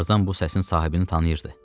Tarzan bu səsin sahibini tanıyırdı.